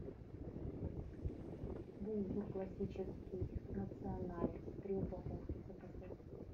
булгур классический националь три упаковки заказать